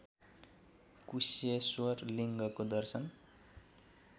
कुशेश्वर लिङ्गको दर्शन